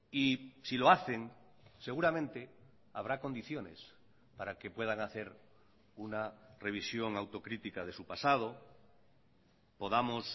y si lo hacen seguramente habrá condiciones para que puedan hacer una revisión autocrítica de su pasado podamos